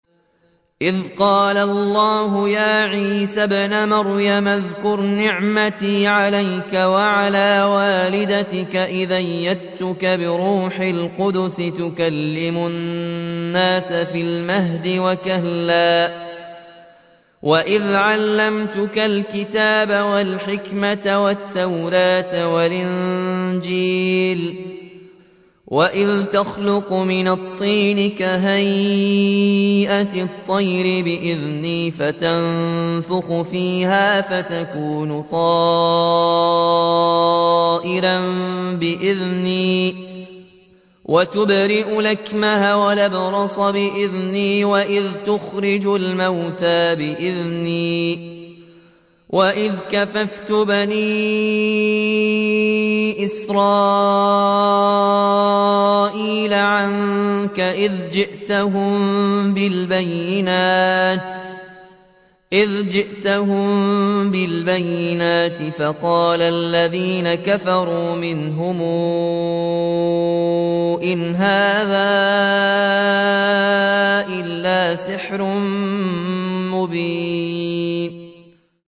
إِذْ قَالَ اللَّهُ يَا عِيسَى ابْنَ مَرْيَمَ اذْكُرْ نِعْمَتِي عَلَيْكَ وَعَلَىٰ وَالِدَتِكَ إِذْ أَيَّدتُّكَ بِرُوحِ الْقُدُسِ تُكَلِّمُ النَّاسَ فِي الْمَهْدِ وَكَهْلًا ۖ وَإِذْ عَلَّمْتُكَ الْكِتَابَ وَالْحِكْمَةَ وَالتَّوْرَاةَ وَالْإِنجِيلَ ۖ وَإِذْ تَخْلُقُ مِنَ الطِّينِ كَهَيْئَةِ الطَّيْرِ بِإِذْنِي فَتَنفُخُ فِيهَا فَتَكُونُ طَيْرًا بِإِذْنِي ۖ وَتُبْرِئُ الْأَكْمَهَ وَالْأَبْرَصَ بِإِذْنِي ۖ وَإِذْ تُخْرِجُ الْمَوْتَىٰ بِإِذْنِي ۖ وَإِذْ كَفَفْتُ بَنِي إِسْرَائِيلَ عَنكَ إِذْ جِئْتَهُم بِالْبَيِّنَاتِ فَقَالَ الَّذِينَ كَفَرُوا مِنْهُمْ إِنْ هَٰذَا إِلَّا سِحْرٌ مُّبِينٌ